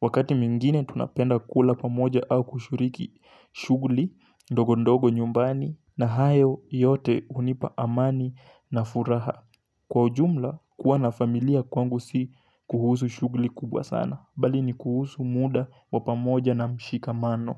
Wakati mingine tunapenda kula pamoja au kushiriki shughuli, ndogo ndogo nyumbani na hayo yote hunipa amani na furaha. Kwa ujumla, kuwa na familia kwangu si kuhusu shughli kubwa sana, bali ni kuhusu muda wa pamoja na mshikamano.